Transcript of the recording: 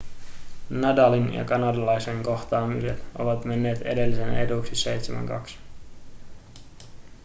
nadalin ja kanadalaisen kohtaamiset ovat menneet edellisen eduksi 7-2